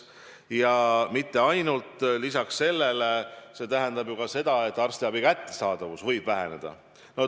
Ja mitte ainult, lisaks see tähendab ju ka seda, et arstiabi kättesaadavus võib väheneda.